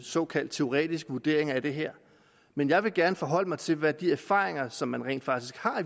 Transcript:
såkaldt teoretiske vurderinger af det her men jeg vil gerne forholde mig til hvad de erfaringer som man rent faktisk har